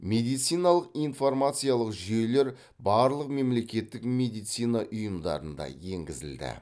медициналық информациялық жүйелер барлық мемлекеттік медицина ұйымдарында енгізілді